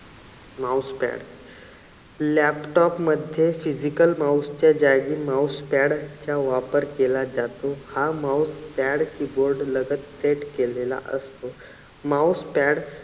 mouse pad laptop मध्ये physical mouse च्या जागी mouse pad चा वापर केला जातो. हा mouse pad keyboard लगत set केलेला असतो. mouse pad